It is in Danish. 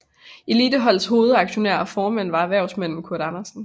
Eliteholdets hovedaktionær og formand var erhvervsmanden Kurt Andersen